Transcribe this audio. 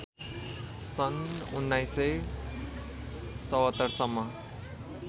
सन् १९७४ सम्म